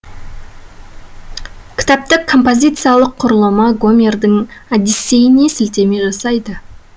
кітаптың композициялық құрылымы гомердің одиссейіне сілтеме жасайды